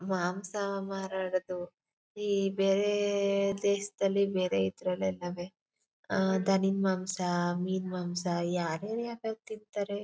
ಮಾಂಸ ಮಾರಾಡುವುದು ಈ ಬೇರೆ ಅಹ್ ಅಹ್ ದೇಶದಲ್ಲಿ ಬೇರೆ ಇದ್ರಲ್ಲಿ ಇದಾವೆ. ಅಹ್ ಧನ ಮಾಂಸ ಮೀನು ಮಾಂಸ ಯಾರು ಯಾವ್ಯಾವ್ ತಿಂತಾರೆ.